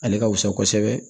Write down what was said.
Ale ka wusa kosɛbɛ